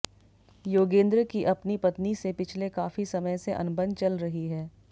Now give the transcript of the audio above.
योगेंद्र की अपनी पत्नी से पिछले काफी समय से अनबन चल रही है